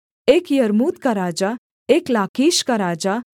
एक यर्मूत का राजा एक लाकीश का राजा